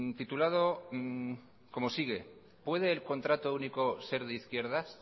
titulado como sigue puede el contrato único ser de izquierdas